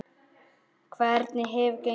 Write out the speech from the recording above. Hvernig hefur gengið?